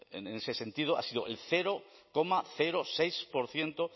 en ese sentido ha sido el cero coma seis por ciento